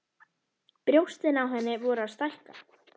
Brjóstin á henni voru að stækka.